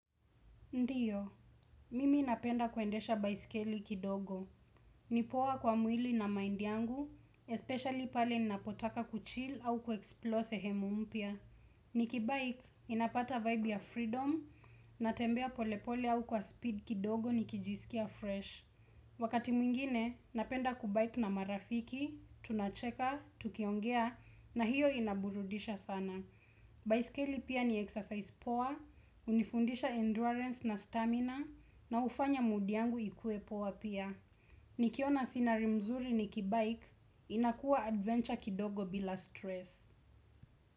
Ndiyo, mimi napenda kuendesha baiskeli kidogo. Ni poa kwa mwili na mind yangu, especially pale napotaka kuchill au kuexplore sehemu mpya. Nikibike, ninapata vibe ya freedom, natembea polepole au kwa speed kidogo nikijisikia fresh. Wakati mwingine, napenda kubike na marafiki, tunacheka, tukiongea, na hiyo inaburudisha sana. Baiskeli pia ni exercise poa, hunifundisha endurance na stamina na hufanya mood yangu ikue poa pia. Nikiona scenario mzuri nikibike, inakuwa adventure kidogo bila stress.